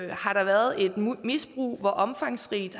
der har været et misbrug og hvor omfangsrigt